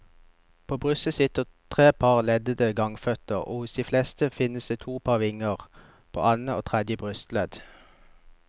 På brystet sitter tre par leddelte gangføtter og hos de fleste finnes to par vinger, på annet og tredje brystledd.